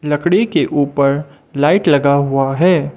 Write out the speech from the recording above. लकड़ी के ऊपर लाइट लगा हुआ है।